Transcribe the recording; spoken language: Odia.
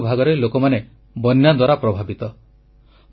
ଦେଶର କେତେକ ଭାଗରେ ଲୋକମାନେ ବନ୍ୟାଦ୍ୱାରା ପ୍ରଭାବିତ